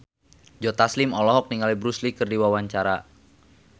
Joe Taslim olohok ningali Bruce Lee keur diwawancara